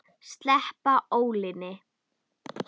Sleppa ólinni.